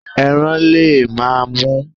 Eran le ma mu